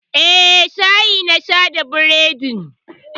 Eh, shayi na sha da bredin.